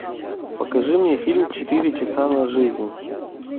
покажи мне фильм четыре часа на жизнь